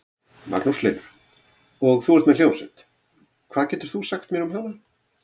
Magnús Hlynur: Og þú ert með hljómsveit, hvað getur þú sagt mér um hana?